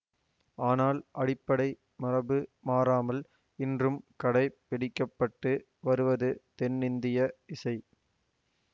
ஆனால் அடிப்படை மரபு மாறாமல் இன்றும் கடை பிடிக்க பட்டு வருவது தென்னிந்திய இசை